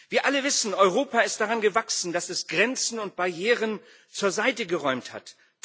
Wir alle wissen Europa ist daran gewachsen, dass es Grenzen und Barrieren zur Seite geräumt hat.